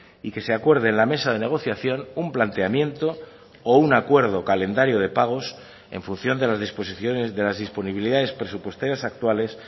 y que se acuerde en la mesa de negociación un planteamiento o un acuerdo calendario de pagos en función de las disposiciones de las disponibilidades presupuestarias actuales